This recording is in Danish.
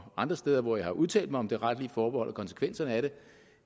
og andre steder hvor jeg har udtalt mig om det retlige forbehold og konsekvenserne af